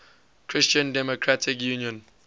christian democratic union